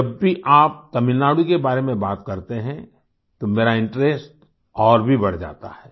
जब भी आप तमिलनाडु के बारे में बात करते हैं तो मेरा इंटरेस्ट और भी बढ़ जाता है